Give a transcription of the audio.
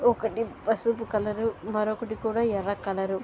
ఒకటి పసుపు కలరు మరొకటి కూడా ఎర్ర కలరు --